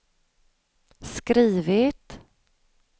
skrivit